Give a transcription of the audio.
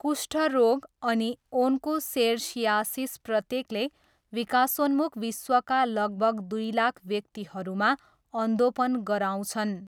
कुष्ठरोग अनि ओन्कोसेर्सियासिस प्रत्येकले विकासोन्मुख विश्वका लगभग दुई लाख व्यक्तिहरूमा अन्धोपन गराउँछन्।